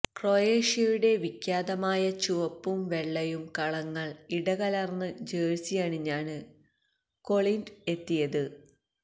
ക്രൊയേഷ്യയുടെ വിഖ്യാതമായ ചുവപ്പും വെള്ളയും കളങ്ങൾ ഇടകലർന്ന് ജേഴ്സിയണിഞ്ഞാണ് കൊളിൻഡ് എത്തിയത്